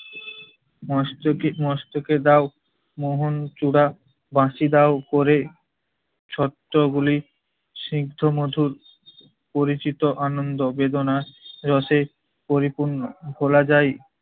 মস্তকে মস্তকে দাও মোহন চূড়া বাসি দাও করে, ছত্রগুলি স্নিগ্ধ মধুর পরিচিত আনন্দ বেদনার রোষে পরিপূর্ণ। ভোলা যায়